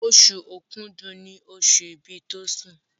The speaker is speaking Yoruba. Oṣù Òkúdu ní oṣù ibì Tosin.